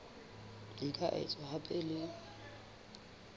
di ka etswa hape le